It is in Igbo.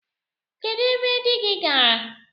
Kedụ ebe di gị gaara?